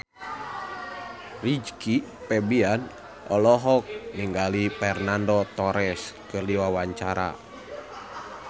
Rizky Febian olohok ningali Fernando Torres keur diwawancara